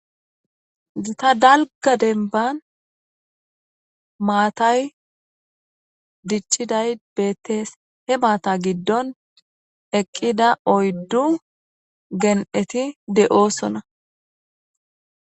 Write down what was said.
Zta dalga denban maatay dichchiday beettees he maata giddon eqqida oyddu gen'eti de'oosona.